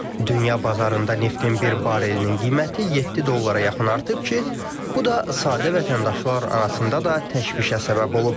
Dünya bazarında neftin bir barelinin qiyməti 7 dollara yaxın artıb ki, bu da sadə vətəndaşlar arasında da təşvişə səbəb olub.